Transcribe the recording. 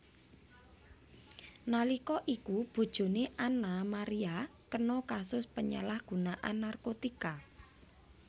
Nalika iku bojone Annaa Maria kena kasus penyalahgunaan narkotika